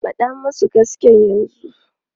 Faɗa musu gaskiya yanzu!